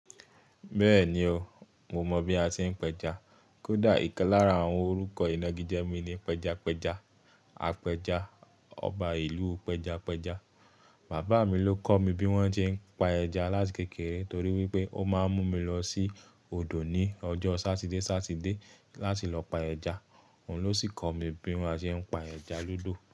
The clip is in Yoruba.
Bẹ́ẹ̀ni oo, mo mọ̀ bí a ṣe ń p'ẹja. Kódà ìkan lára àwọn orúkọ ìnagíje mi ni Pẹjapẹja. Apẹja, ọba ìlú pẹjapẹja. Bàbáa mi ló kọ́ mi bí wón ṣe ń pa ẹja láti kékeré torí wípé ó máa ń mú mi lọ sí odò ní ọjọ́ Sátidé Sátidé láti lọ pa ẹja. Òun ló sì kọ́ mi bí wón, a ṣe ń pa ẹja lodo.